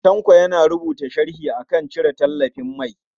Tanko yana rubuta sharhi a kan cire tallafin mai.